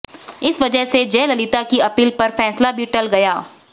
इस वजह से जयललिता की अपील पर फैसला भी टल गया